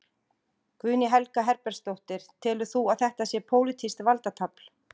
Guðný Helga Herbertsdóttir: Telur þú að þetta sé pólitískt valdatafl?